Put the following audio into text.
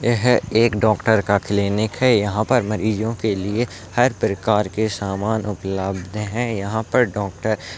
यह एक डॉक्टर का क्लिनिक है यहां पर मरीजों की लिए हर प्रकार के सामान उपलब्ध है यहां पर डॉक्टर --